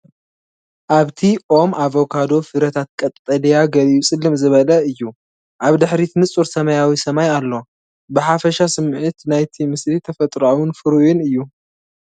ኣብቲ ኦም ኣቮካዶ፣ ፍረታት ቀጠልያ፡ ገሊኡ ፅልም ዝበለ እዩ። ኣብ ድሕሪት ንጹር ሰማያዊ ሰማይ ኣሎ። ብሓፈሻ ስሚዒት ናይቲ ምስሊ ተፈጥሮኣውን ፍሩይን እዩ።